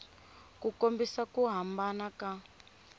u kombisa ku hambana ka